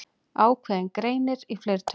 Ákveðinn greinir í fleirtölu.